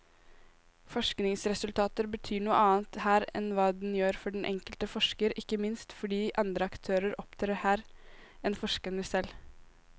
Forskningsresultater betyr noe annet her enn hva den gjør for den enkelte forsker, ikke minst fordi andre aktører opptrer her enn forskerne selv.